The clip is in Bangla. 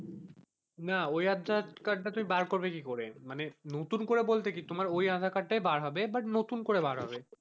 না ওই আধার কার্ডটা তুমি বার করবে কি করে? মানে নতুন করে বলতে কি তোমার ওই আধার কার্ড তাই বার হবে বুট নতুন করে বার হবে।